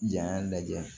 Janya lajɛ